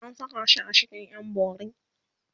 an Saka shi a cikin ƴan bori